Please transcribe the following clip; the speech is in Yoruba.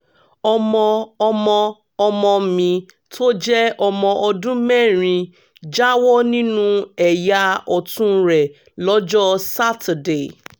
ọmọ ọmọ ọmọ mi tó jẹ́ ọmọ ọdún mẹ́rin jáwọ́ nínú ẹ̀yà ọ̀tún rẹ̀ lọ́jọ́ saturday